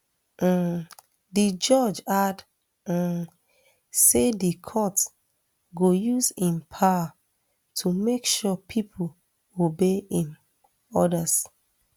um di judge add um say di court go use im power to make sure pipo obey im orders